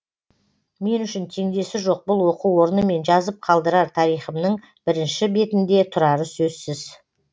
мен үшін теңдесі жоқ бұл оқу орнымен жазып қалдырар тарихымның бірінші бетінде тұрары сөзсіз